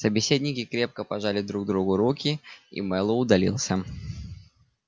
собеседники крепко пожали друг другу руки и мэллоу удалился